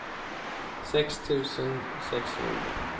sex tusen sexhundra